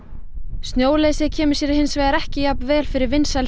snjóleysið kemur sér hins vegar ekki jafn vel fyrir vinsæl